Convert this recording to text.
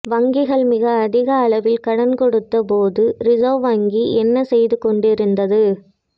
வங்கிகள் மிக அதிக அளவில் கடன் கொடுத்த போது ரிசர்வ் வங்கி என்ன செய்து கொண்டிருந்தது